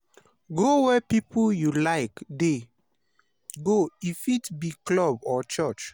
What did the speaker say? go where pipo wey you like dey go e fit be club or church.